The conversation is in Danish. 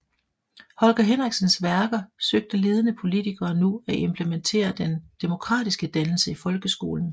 Holger Henriksens værker søgte ledende politikere nu at implementere den demokratiske dannelse i folkeskolen